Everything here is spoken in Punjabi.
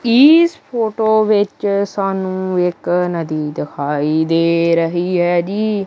ਈਸ ਫ਼ੋਟੋ ਵਿੱਚ ਸਾਨੂੰ ਇੱਕ ਨਦੀ ਦਿਖਾਈ ਦੇ ਰਹੀ ਹੈ ਜੀ।